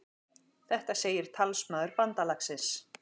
Þetta segir talsmaður bandalagsins